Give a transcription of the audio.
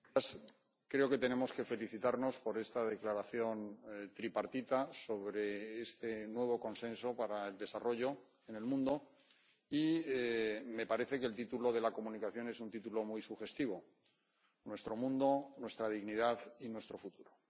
Señora presidenta, creo que tenemos que felicitarnos por esta declaración tripartita sobre este nuevo Consenso en materia de Desarrollo en el mundo, y me parece que el título de la comunicación es un título muy sugestivo Nuestro mundo, nuestra dignidad, nuestro futuro.